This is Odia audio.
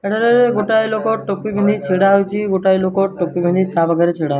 ଏଠାରେଏ ଏ ଗୋଟାଏ ଲୋକ ଟୋପି ପିନ୍ଧି ଛିଡ଼ା ହୋଇଚି। ଗୋଟାଏ ଲୋକ ଟୋପି ପିନ୍ଧି ତା ପାଖରେ ଛିଡା।